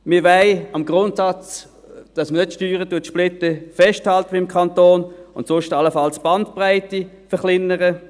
Wir wollen am Grundsatz festhalten, dass man beim Kanton nicht Steuern splittet, und sonst allenfalls die Bandbreite verkleinern.